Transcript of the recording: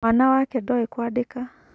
Mwana wake ndoĩ kũandĩka.